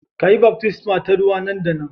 Ka yi baftisma ta ruwa nan da nan